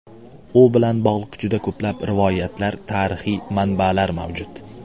U bilan bog‘liq juda ko‘plab rivoyatlar, tarixiy manbalar mavjud.